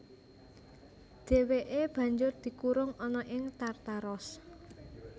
Dhèwèké banjur dikurung ana ing Tartaros